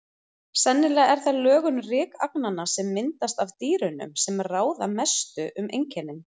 Sennilega er það lögun rykagnanna, sem myndast af dýrunum, sem ráða mestu um einkennin.